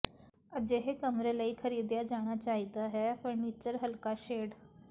ਅਜਿਹੇ ਕਮਰੇ ਲਈ ਖਰੀਦਿਆ ਜਾਣਾ ਚਾਹੀਦਾ ਹੈ ਫਰਨੀਚਰ ਹਲਕਾ ਸ਼ੇਡ